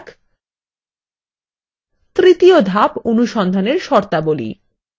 তৃতীয় ধাপঅনুসন্ধানএর শর্তাবলী